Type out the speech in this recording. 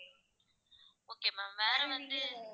okay ma'am வேற வந்து